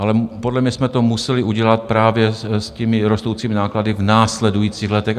Ale podle mě jsme to museli udělat právě s těmi rostoucími náklady v následujících letech.